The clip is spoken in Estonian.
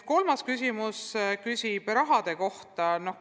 Kolmas küsimus on raha kohta.